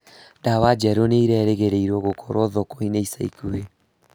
Dawa njerũ nĩĩregĩrĩrĩrwo gũkorwo thoko-inĩ ica ikuhĩ